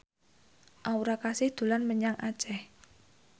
Aura Kasih dolan menyang Aceh